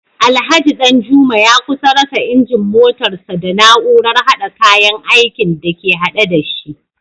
Alhaji Danjuma ya kusa rasa injin motarsa ​​da na’urar hada kayan aikin da ke hade da shi